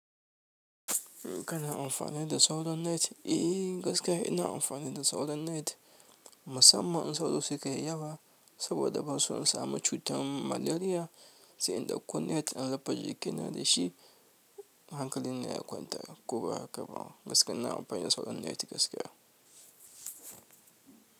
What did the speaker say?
Kana amfani da sauran net? I gaskiya ina amfani da sauran net. Musamman in sauro suka yi yawa saboda banso in samu cutar maleriya, sai in ɗauko net in rufe jikina dashi. Hankali na ya kwanta ko ba haka ba. Gaskiya ina amfani da sauran net gaskiya.